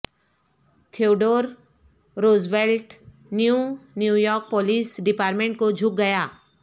Theodore Roosevelt New New York police department کو جھک گیا